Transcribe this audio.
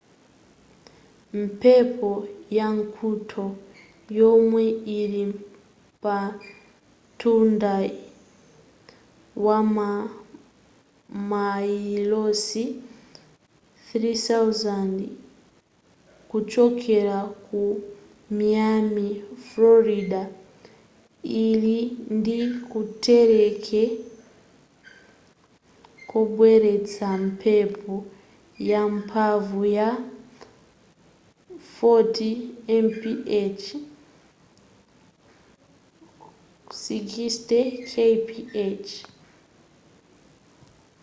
mphepo ya mkuntho yomwe ili pamtunda wa mamayilosi 3,000 kuchokera ku miami frorida ili ndi kuthekera kobweretsa mphepo yamphamvu ya 40 mph 64 kph